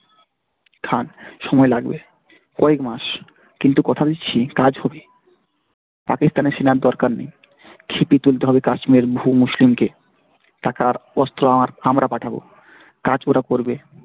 খান। সময় লাগবে কয়েক মাস কিন্তু কথা দিচ্ছি কাজ হবে পাকিস্তানের সেনার দরকার নেই খেপিয়ে তুলতে হবে কাশ্মীর ভূ মুসলিমকে। টাকা আর অস্ত্র আমরা পাঠাবো কাজ ওরা করবে।